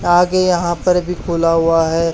आगे यहां पर भी खुला हुआ है।